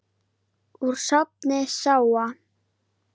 Úr safni SÁA.